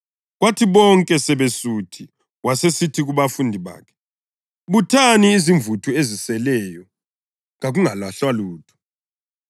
Kwathi bonke sebesuthi, wasesithi kubafundi bakhe, “Buthani imvuthu eziseleyo. Kakungalahlwa lutho.”